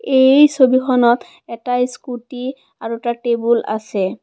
এই ছবিখনত এটা স্কুটী আৰু এটা টেবুল আছে।